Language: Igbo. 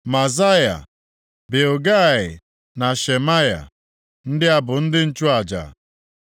Maazaya, Bilgai na Shemaya. Ndị a bụ ndị nchụaja.